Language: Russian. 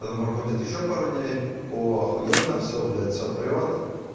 потом проходит ещё пару дней о ахуенно все блять все прёт